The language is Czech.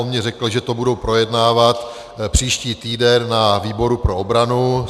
On mi řekl, že to budou projednávat příští týden na výboru pro obranu.